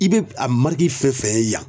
I be a mariki fɛn fɛn ye yan